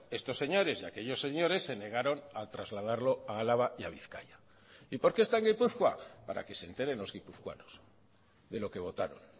estos señores y aquellos señores se negaron a trasladarlo a álava y a bizkaia y por qué está en gipuzkoa para que se enteren los guipuzcoanos de lo que votaron